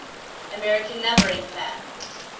american numbering plan